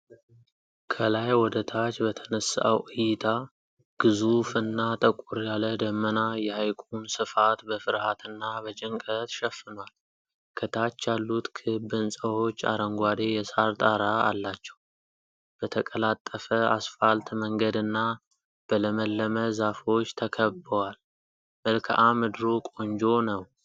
ከላይ ወደ ታች በተነሳው እይታ ግዙፍና ጠቆር ያለ ደመና የሐይቁን ስፋት በፍርሃትና በጭንቀት ሸፍኗል። ከታች ያሉት ክብ ሕንፃዎች አረንጓዴ የሳር ጣራ አላቸው፤ በተቀላጠፈ አስፋልት መንገድና በለመለመ ዛፎች ተከብበዋል። መልክአ ምድሩ ቆንጆ ነው።